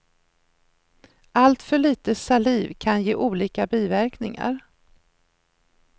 Alltför lite saliv kan ge olika biverkningar.